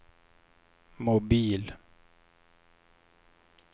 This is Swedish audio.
mobil